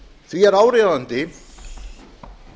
því er áríðandi að